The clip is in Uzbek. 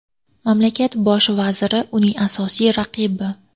Mamlakat bosh vaziri uning asosiy raqibi.